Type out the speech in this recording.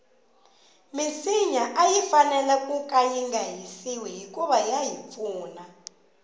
minsinya ayi fanele kunga hisiwi hikuva yahi pfuna